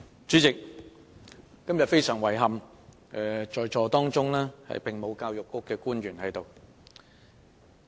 主席，今天非常遺憾，沒有教育局的官員在席。